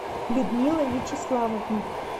людмила вячеславовна